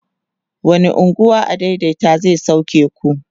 wani unguwa adaidaita zai sauke ku?